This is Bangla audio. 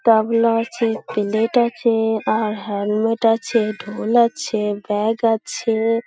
গামলা আছে পেলেট আছে-এ আর হেলমেট আছে ঢোল আছে ব্যাগ আছে-এ--